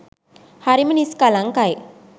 හරිම නිස්කලංකයි.